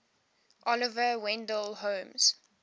oliver wendell holmes